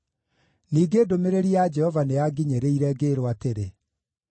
Ningĩ ndũmĩrĩri ya Jehova nĩyanginyĩrire, ngĩĩrwo atĩrĩ: